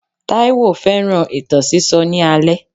Taiwo fẹ́ràn ìtàn sísọ ní alẹ́.